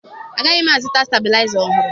Agaghị m azụta stebilaịza ọhụrụ